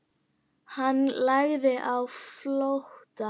Hann lagði á flótta.